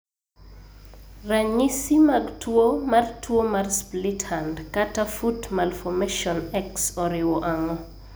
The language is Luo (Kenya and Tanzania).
Ranyisi mag tuwo mar tuwo mar Split hand/foot malformation X oriwo ang'o?